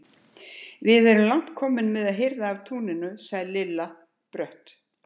Við erum langt komin með að hirða af túnunum, sagði Lilla brött.